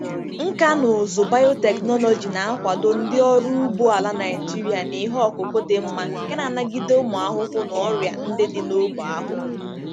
Nkà na ụzụ biotechnology na-akwado ndị ọrụ ugbo ala Nigeria na ihe ọkụkụ dị mma nke na-anagide ụmụ ahụhụ na ọrịa ndị dị n'ógbè ahụ.